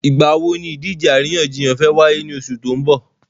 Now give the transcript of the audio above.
Ìgbà wo ni ìdíje àríyànjiyàn fẹ́ wáyé ní oṣù tó n bò?